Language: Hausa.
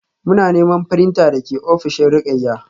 Muna neman printer da ke ofishin Ruqayyah